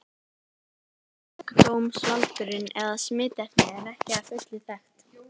Sjúkdómsvaldurinn eða smitefnið er ekki að fullu þekkt.